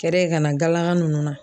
Kɛrɛ ka na galaka nunnu na.